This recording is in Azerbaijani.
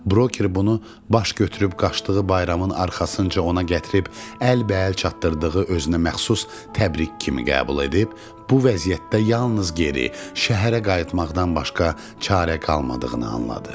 Broker bunu baş götürüb qaçdığı bayramın arxasınca ona gətirib əlbəəl çatdırdığı özünə məxsus təbrik kimi qəbul edib bu vəziyyətdə yalnız geri, şəhərə qayıtmaqdan başqa çarə qalmadığını anladı.